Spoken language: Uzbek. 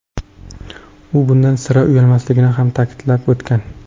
U bundan sira uyalmasligini ham ta’kidlab o‘tgan.